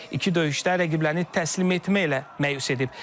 İki döyüşdə rəqiblərini təslim etməklə məyus edib.